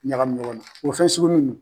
Ɲagami ɲɔgɔn na o fɛn sugu munnu.